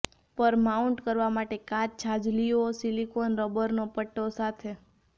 પર માઉન્ટ કરવા માટે કાચ છાજલીઓ સિલિકોન રબરનો પટો સાથે